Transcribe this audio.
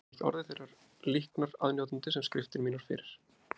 Hefði ég ekki orðið þeirrar líknar aðnjótandi sem skriftir mínar fyrir